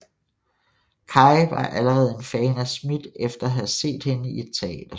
Kaye var allerede en fan af Smith efter at have set hende i et teaterstykke